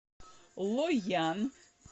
лоян